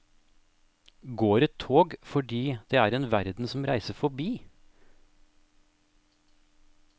Går et tog fordi er det en verden som reiser fordi.